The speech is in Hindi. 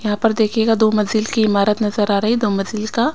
यहां पर देखिएगा दो मंजिल की इमारत नजर आ रही है दो मंजिल का--